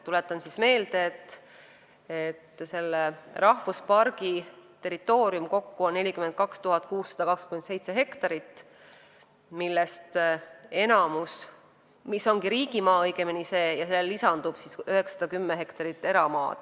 Tuletan meelde, et uue rahvuspargi territooriumist 42 627 hektarit on riigimaa, millele lisandub 910 hektarit eramaad.